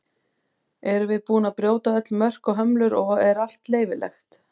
Erum við búin að brjóta öll mörk og hömlur og er allt leyfilegt?